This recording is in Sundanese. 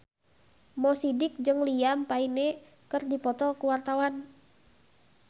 Mo Sidik jeung Liam Payne keur dipoto ku wartawan